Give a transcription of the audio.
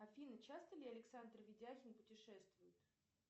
афина часто ли александр видяхин путешествует